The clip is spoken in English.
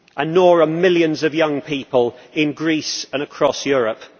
Nor are millions of young people in Greece and across Europe.